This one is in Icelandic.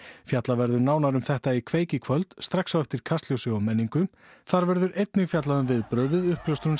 fjallað verður nánar um þetta í kveik í kvöld strax á eftir Kastljósi og menningunni þar verður einnig fjallað um viðbrögð við uppljóstrun